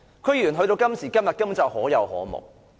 區議員到了今時今日根本已是可有可無。